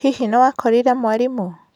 Hihi nĩ wakorire mwarimũ?